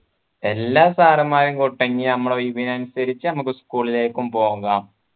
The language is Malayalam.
എല്ലാ sir മാരെയും കൂട്ടങ്കി നമ്മളെ ഒഴിവിനനുസച്ചു നമ്മക്ക് school ലേക്കും പോകാം